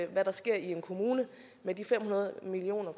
hvad der sker i en kommune med de fem hundrede million